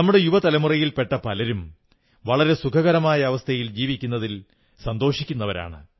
നമ്മുടെ യുവ തലമുറയിൽ പെട്ട പലരും വളരെ സുഖകരമായ അവസ്ഥയിൽ ജീവിക്കുന്നതിൽ സന്തോഷിക്കുന്നരാണ്